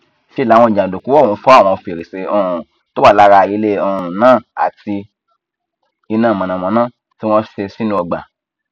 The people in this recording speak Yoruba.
ṣe làwọn jàǹdùkú ọhún fọ àwọn fèrèsé um tó wà lára ilé um náà àti iná mọnàmọná tí wọn ṣe sínú ọgbà